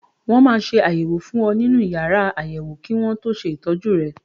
Wọ́n máa ṣe àyẹ̀wò fún ọ nínú yàrá àyẹ̀wò kí wọ́n tó ṣe ìtọ́jú rẹ.